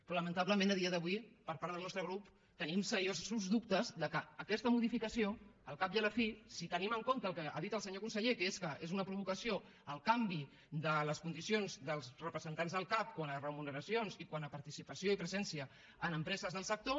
però lamentablement a dia d’avui per part del nostre grup tenim seriosos dubtes que aquesta modificació al cap i a la fi si tenim en compte el que ha dit el senyor conseller que és que és una provocació el canvi de les condicions dels representants del cac quant a remuneracions i quant a participació i presència en empreses del sector